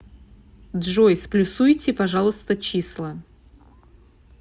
джой сплюсуйте пожалуйста числа